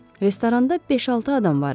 Restoranda beş-altı adam var idi.